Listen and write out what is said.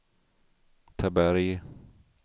Taberg